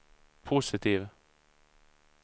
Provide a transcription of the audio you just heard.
positiv